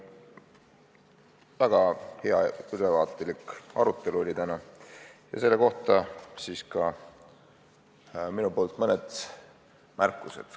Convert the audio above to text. Väga hea ülevaatlik arutelu oli täna, selle juurde ka minu poolt mõned märkused.